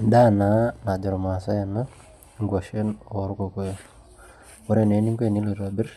Endaa naa najo irmaasai ena nkuashen orkokoyo ore naa eninko enilo aitobirr